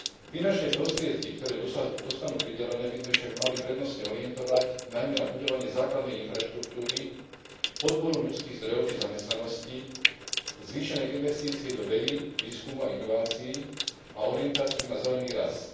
Finančné prostriedky, ktoré dostanú pridelené, by sme však mali prednostne orientovať najmä na budovanie základnej infraštruktúry, podporu ľudských zdrojov či zamestnanosti, zvýšenej investície do vedy, výskumu a inovácií a orientáciu na zelený rast.